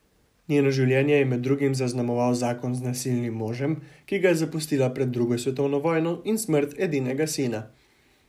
Njeno življenje je med drugim zaznamoval zakon z nasilnim možem, ki ga je zapustila pred drugo svetovno vojno, in smrt edinega sina.